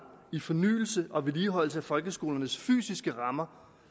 i fornyelse og vedligeholdelse af folkeskolernes fysiske rammer